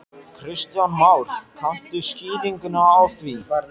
Kristján Már: Kanntu skýringu á því?